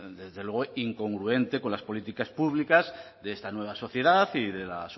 desde luego incongruente con las políticas públicas de esta nueva sociedad y de la